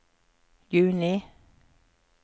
juni